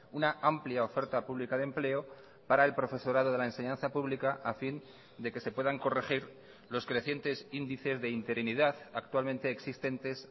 una amplia oferta pública de empleo para el profesorado de la enseñanza pública a fin de que se puedan corregir los crecientes índices de interinidad actualmente existentes